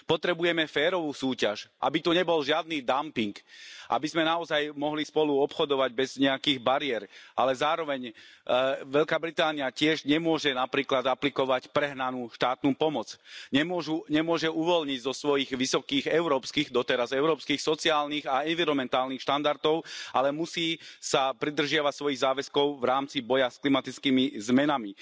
Potrebujeme férovú súťaž, aby tu nebol žiadny dumping, aby sme naozaj mohli spolu obchodovať bez nejakých bariér, ale zároveň Veľká Británia tiež nemôže napríklad aplikovať prehnanú štátnu pomoc, nemôžu, nemôže uvoľniť zo svojich vysokých európskych, doteraz európskych sociálnych a environmentálnych štandardov, ale musí sa pridržiavať svojich záväzkov v rámci boja s klimatickými zmenami.